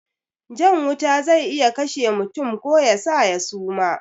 Jan wuta zai iya kashe mutum ko yasa ya suma